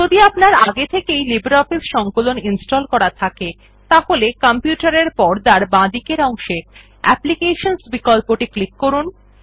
যদি আপনার আগে থেকেই লিব্রিঅফিস সংকলন ইনস্টল করা থাকে তাহলে কম্পিউটার এর পর্দার বাঁদিকের অংশে অ্যাপ্লিকেশনস বিকল্পটি ক্লিক করুন